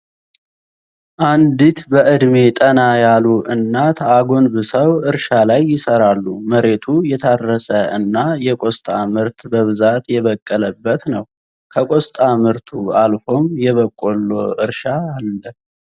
አንዲት በእድሜ ጠና ያሉ እናት አጎንብሰው እርሻ ላይ ይሰራሉ። መሬቱ የታረሰ እና የቆስጣ ምርት በብዛት የበቀለበት ነው። ከቆስጣ ምርቱ አልፎም የበቆሎ እርሻ አለ።